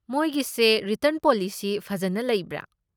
ꯃꯣꯏꯒꯤꯁꯦ return policy ꯐꯖꯟꯅ ꯂꯩꯕ꯭ꯔꯥ?